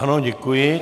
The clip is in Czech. Ano, děkuji.